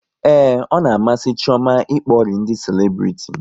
Ee, ọ na-amasị Chioma ịkpọri ndị selebriti